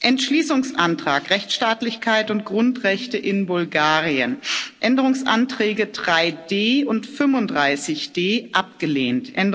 Entschließungsantrag Rechtsstaatlichkeit und Grundrechte in Bulgarien Änderungsanträge 3d und 35d abgelehnt